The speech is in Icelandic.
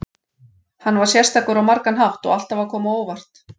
Hann var sérstakur á margan hátt og alltaf að koma á óvart.